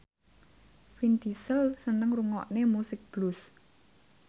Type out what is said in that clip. Vin Diesel seneng ngrungokne musik blues